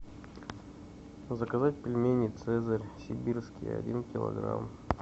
заказать пельмени цезарь сибирские один килограмм